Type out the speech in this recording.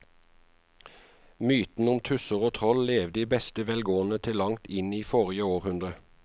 Mytene om tusser og troll levde i beste velgående til langt inn i forrige århundre.